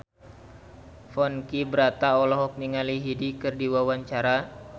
Ponky Brata olohok ningali Hyde keur diwawancara